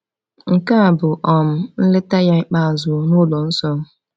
Nke a bụ um nleta ya ikpeazụ n’ụlọ nsọ.